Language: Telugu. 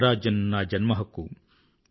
స్వరాజ్యం నా జన్మహక్కు